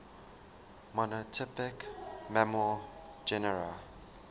monotypic mammal genera